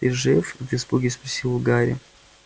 ты жив в испуге спросил гарри